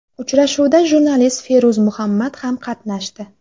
Uchrashuvda jurnalist Feruz Muhammad ham qatnashdi.